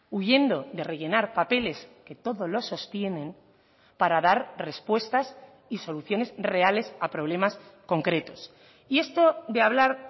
huyendo de rellenar papeles que todo lo sostienen para dar respuestas y soluciones reales a problemas concretos y esto de hablar